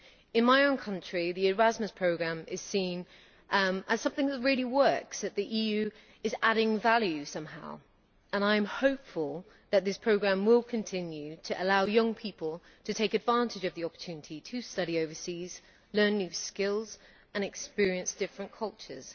In my own country the Erasmus programme is seen as something that really works, the EU is seen to be adding value somehow, and I am hopeful that this programme will continue to allow young people to take advantage of the opportunity to study overseas, learn new skills and experience different cultures.